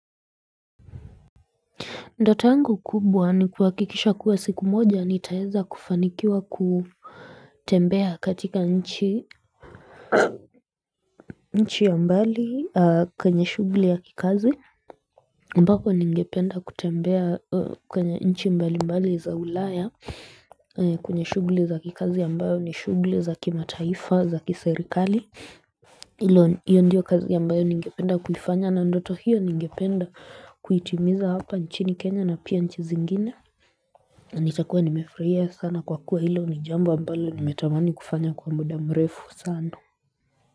Ndoto yangu kubwa ni kuakikisha kuwa siku moja nitaeza kufanikiwa kutembea katika nchi nchi ya mbali kwenye shugli ya kikazi ambako ningependa kutembea kwenye nchi mbali mbali za ulaya kwenye shugli za kikazi ambayo ni shugli za kimataifa za kiserikali iyo ndio kazi mbayo ningependa kuifanya na ndoto hiyo ningependa kuitimiza hapa nchini Kenya na pia nchi zingine nitakuwa nimefurahia sana kwa kuwa hilo ni jambo ambalo nimetamani kufanya kwa muda mrefu sana.